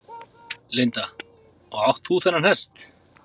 Linda: Og átt þú þennan hest?